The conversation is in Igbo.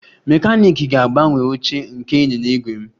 Mekaniiki ga-agbanwe oche nke ịnyịnya ígwè m